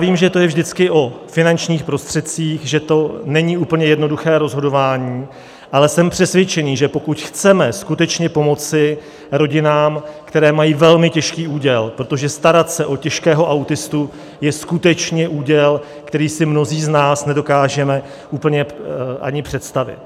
Vím, že to je vždycky o finančních prostředcích, že to není úplně jednoduché rozhodování, ale jsem přesvědčený, že pokud chceme skutečně pomoci rodinám, které mají velmi těžký úděl, protože starat se o těžkého autistu je skutečně úděl, který si mnozí z nás nedokážeme úplně ani představit.